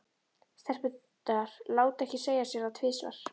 Stelpurnar létu ekki segja sér það tvisvar.